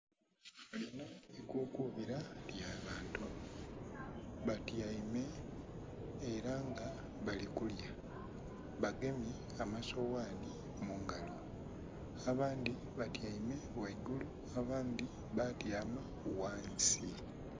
Linho ikukuubila ly'abantu. Batyaime ela nga bali kulya, bagemye amasoghanhi mungalo. Abandhi batyaime ghaigulu abandhi baatyama ghansi.